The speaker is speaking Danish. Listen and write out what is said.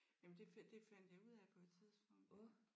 Jamen det fandt det fandt jeg ud af på et tidspunkt